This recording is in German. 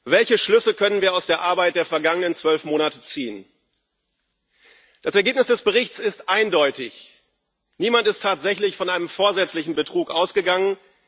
Welche Schlüsse können wir aus der Arbeit der vergangenen zwölf Monate ziehen? Das Ergebnis des Berichts ist eindeutig Niemand ist tatsächlich von einem vorsätzlichen Betrug ausgegangen.